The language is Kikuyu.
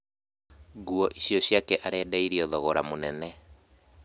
Nguo icio ciake arendeirio thogora mũnene